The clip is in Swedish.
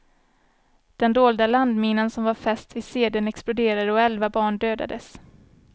Den dolda landminan som var fäst vid sedeln exploderade och elva barn dödades.